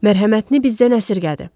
Mərhəmətini bizdən əsirgədi.